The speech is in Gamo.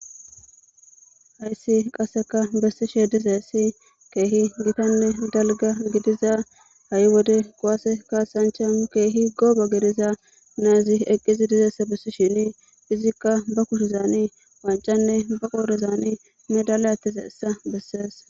Hayssi qassika bessishe dizayssi jeehi gathanne dalgga gidiza ha7i wode kuwaase kaassanchcha keehi goobe gidiza na7izi eqqise bessisheni izikka ba kushezaanii wanccanne be qoorezaani medaala aaththizeyssa bessees.